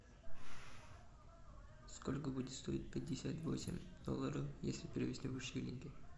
сколько будет стоить пятьдесят восемь долларов если перевести в шиллинги